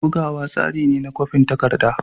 Bugawa tsari ne na kwafin takarda.